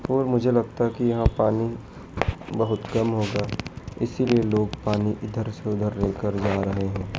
और मुझे लगता है कि यहां पानी बहुत कम होगा इसीलिए लोग पानी इधर से उधर लेकर जा रहे हैं।